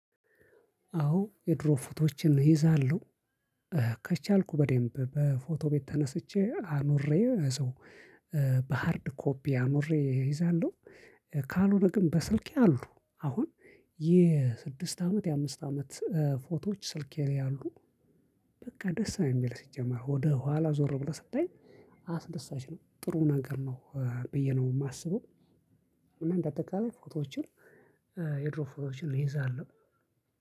አዎ የድሮ ፎቶዎችን እይዛለሁ። ከቻልኩ በደንብ በፎቶ ቤት ተነስቼ አኑሬ ሰው በሃርድ ኮፒ አኑሬ እይዛለሁ። ካልሆነ ግን በስልኬ አሉ። አሁን የስድስት አመት፣ የአምስት አመት ፎቶዎች ስልኬ ላይ አሉ። በቃ ደስ ነው የሚል፣ ሲጀመር ወደ ኋላ ዞር ብለህ ስታይ አስደሳች ነው፣ ጥሩ ነገር ነው ብዬ ነው ማስበው። እና እንደአጠቃላይ ፎቶዎችን የድሮ ፎቶዎችን እይዛለው